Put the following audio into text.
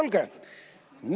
Midagi on mul veel.